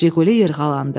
JİQULİ yırğalandı.